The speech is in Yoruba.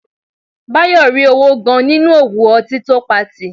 Báyọ̀ rí owó gan-an nínú òwò ọtí tó patì